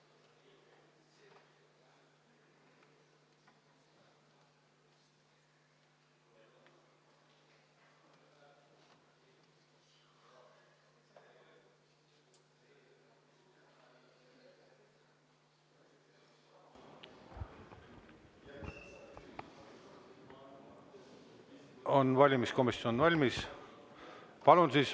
On valimiskomisjon valmis?